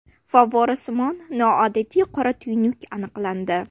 Favvorasimon noodatiy qora tuynuk aniqlandi.